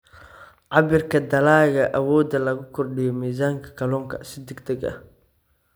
Cabbirka Dalagga Awoodda lagu kordhiyo miisaanka kalluunka si degdeg ah.